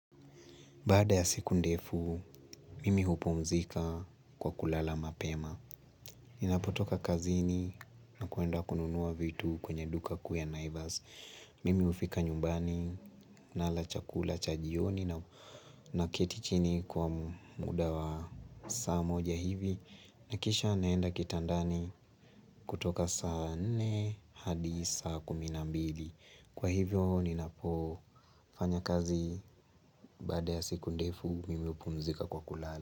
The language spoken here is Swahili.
Baada ya siku ndefu, mimi hupumzika kwa kulala mapema. Ninapotoka kazini na kuenda kununua vitu kwenye duka kuu ya naivas. Mimi hufika nyumbani nala chakula cha jioni na keti chini kwa muda wa saa moja hivi. Na kisha naenda kitandani kutoka saa nne hadi saa kumi na mbili. Kwa hivyo ninapo fanya kazi baada ya siku ndefu mimi hupumzika kwa kulala.